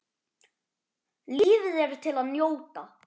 Lífið er til að njóta.